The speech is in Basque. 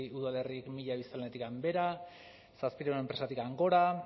udalerrik mila biztanletik behera zazpiehun enpresatik gora